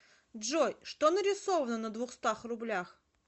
джой что нарисовано на двухстах рублях